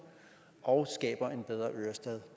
og skaber en bedre ørestad